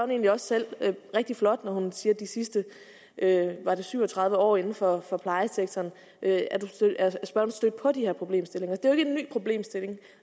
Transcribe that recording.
egentlig også selv rigtig flot når hun siger de sidste var det syv og tredive år inden for for plejesektoren er stødt på de her problemstillinger det er jo ikke en ny problemstilling og